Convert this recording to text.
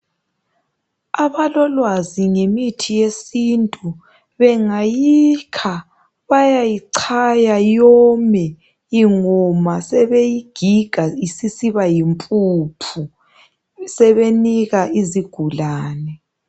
Abalolwazi ngemithi yesintu ,bengayikha bayayichaya yome, ingoma sebeyigiga isisiba yimpuphu sebenika izigulane.